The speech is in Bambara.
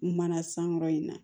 Mana sankɔrɔ in na